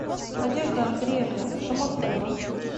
надежда андреевна шомахова